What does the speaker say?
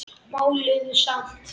Máluðum samt.